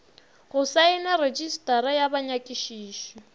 go saena retšistara ya banyakišiši